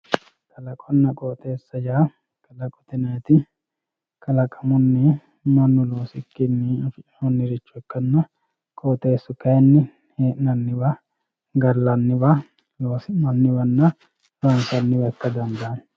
kalaqonna qooxeessa yaa kalaqote yinanniti kalaqamunni mannu loosikkinni afi'nanniricho ikkanna qooxeessu kayiinni hee'nanniwa gallanniwa loosi'nanniwanna honsanniwa ikka dandaanno.